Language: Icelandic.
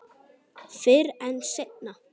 Fyrr en seinna.